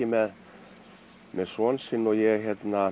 með með son sinn og ég